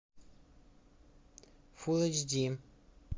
фул эйч ди